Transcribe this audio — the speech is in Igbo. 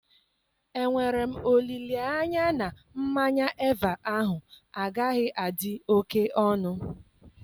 Enwere m olileanya na mmanya Eva ahụ agaghị adị oke ọnụ?